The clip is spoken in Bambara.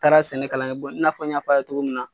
Taara sɛnɛ kalan kɛ i n'a fɔ n y'a ye cogo min na.